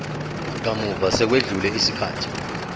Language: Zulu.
kamuva sekwedlule isikhathi